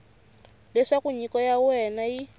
leswaku nyiko ya wena yi